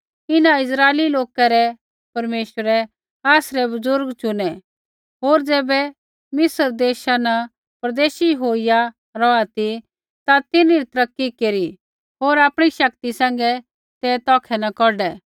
इन्हां इस्राइली लोकै रै परमेश्वरै आसरै बुज़ुर्गै चुनै होर ज़ैबै मिस्र देशा न परदेशी होईया रौहा ती ता तिन्हरी तरक्की केरी होर आपणी शक्ति सैंघै ते तौखै न कौढै